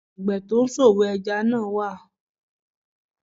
Àgbẹ̀ tó ń ṣòwò ẹja náà wà